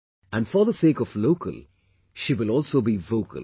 and for the sake of 'local', she will also be vocal